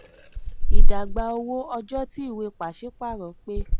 ìdàgbà owó: ọjọ́ tí ìwé pàṣípààrọ̀ pé.